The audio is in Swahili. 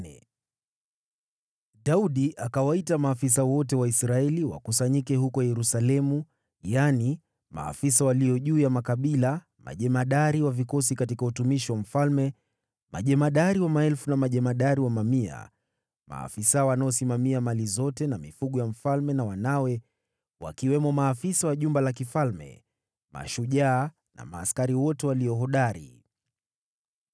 Daudi akawaita maafisa wote wa Israeli wakusanyike huko Yerusalemu: yaani, maafisa walio juu ya makabila, majemadari wa vikosi katika utumishi wa mfalme, majemadari wa maelfu na majemadari wa mamia, maafisa wanaosimamia mali zote na mifugo ya mfalme na wanawe, wakiwemo maafisa wa jumba la kifalme, mashujaa na askari wote walio hodari.